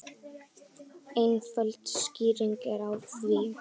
Einföld skýring er á því.